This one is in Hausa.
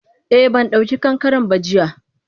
Eh bandauki kankaren ba jiya.